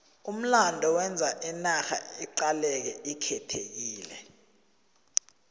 umlando wenza inarha iqaleke ikhethekile